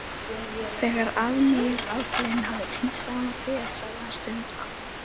Þegar aðmírállinn hafði tínt saman féð sagði hann stundarhátt